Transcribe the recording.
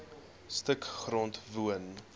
stuk grond woon